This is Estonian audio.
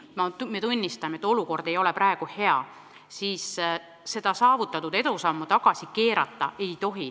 Me tunnistame, et olukord ei ole praegu hea, aga üht-teist oleme saavutanud ja seda edu tagasi keerata ei tohi.